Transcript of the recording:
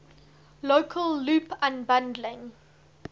local loop unbundling